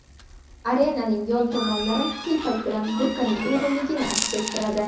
Arenaning yon tomonlari telpak bilan burkaning uyg‘unligini aks ettiradi.